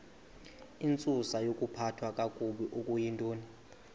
intsusayokuphathwa kakabi okuyintoni